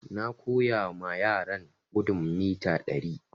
Na koya ma yaran gudun mita ɗari